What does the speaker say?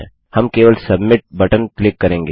हम केवल submit button click करेंगे